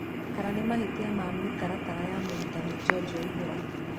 Kana nĩ mahĩtia ma mĩtaratara ya murutani George waihura.